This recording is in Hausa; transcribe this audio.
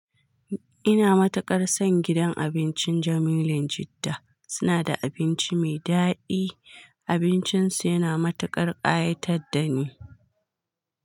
Ina matukar son gidan abincin Jamilun Jidda, suna da abinci mai daɗi, abincin su yana matuƙar ƙayatar da ni.